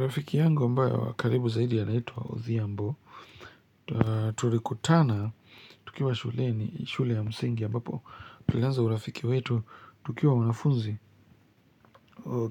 Rafiki yangu ambaye wa karibu zaidi anaitwa Odhiambo, tulikutana tukiwa shule ya msingi ambapo tulianza urafiki wetu tukiwa wanafunzi